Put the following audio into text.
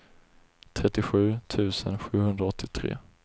trettiosju tusen sjuhundraåttiotre